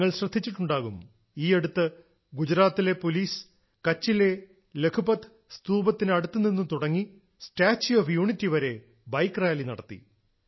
നിങ്ങൾ ശ്രദ്ധിച്ചിട്ടുണ്ടാകും ഈയടുത്ത് ഗുജറാത്തിലെ പോലീസ് കച്ചിലെ ലഖ്പത്ത് സ്തൂപത്തിനടുത്തുനിന്നു തുടങ്ങി സ്റ്റാച്യൂ ഓഫ് യൂണിറ്റി വരെ ബൈക്ക് റാലി നടത്തി